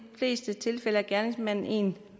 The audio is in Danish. fleste tilfælde er gerningsmanden én